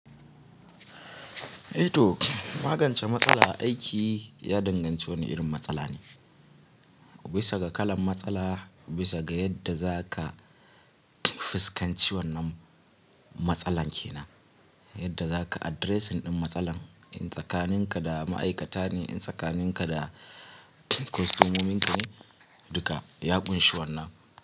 Eh to, magance matsala aiki ya danganci wani irin matsala ne. Bisa ga kalan matsala, bisa ga yadda za ka fuskanci wannan matsalan kenan, yadda za ka addressing ɗin matsalan. In tsakaninka da ma'aikata ne, in tsakaninka da kostomominka ne, duka ya ƙunshi wannan.